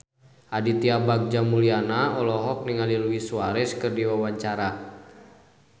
Aditya Bagja Mulyana olohok ningali Luis Suarez keur diwawancara